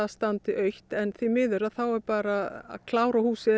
standi autt en því miður þá er bara að klára húsið